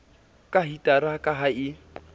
ka hitara ka ha e